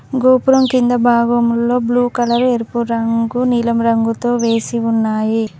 గోపురం కింద భాగంలో బ్లూ కలర్ ఎరుపు రంగు నీలం రంగుతో వేసి ఉన్నాయి.